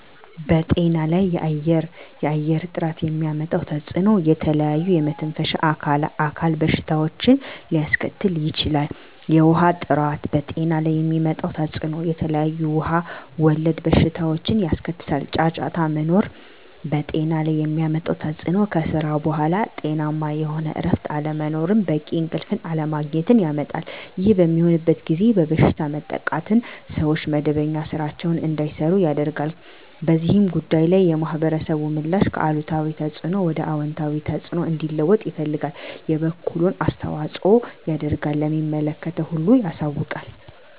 በጤና ላይ የአየር ጥራት የሚያመጣው ተፅዕኖ ለተለያዩ የመተንፈሻ አካል በሽታዎችን ሊያስከትል ይችላል። የውሀ ጥራት በጤና ላይ የሚያመጣው ተፅዕኖ የተለያዩ ውሀ ወለድ በሽታዎችን ያስከትላል። ጫጫታ መኖር በጤና ላይ የሚያመጣው ተፅዕኖ ከስራ በኃላ ጤናማ የሆነ እረፍት አለመኖርን በቂ እንቅልፍ አለማግኘት ያመጣል። ይህ በሚሆንበት ጊዜ በበሽታ መጠቃትን ሰዎች መደበኛ ስራቸዉን እንዳይሰሩ ያደርጋል። በዚህ ጉዳይ ላይ የማህበረሰቡ ምላሽ ከአሉታዊ ተፅዕኖ ወደ አወንታዊ ተፅዕኖ እንዲለወጥ ይፈልጋል የበኩሉን አስተዋፅኦ ያደርጋል ለሚመለከተው ሁሉ ያሳውቃል።